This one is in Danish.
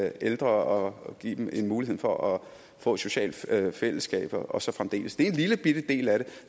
ældre og give dem en mulighed for at få et socialt fællesskab og så fremdeles det er en lillebitte del af det